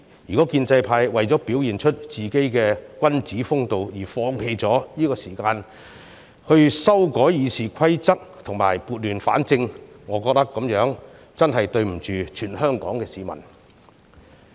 如果建制派為了表現出自己的君子風度而放棄這個時間修改《議事規則》，撥亂反正，我認為這樣真的對不起全香港市民。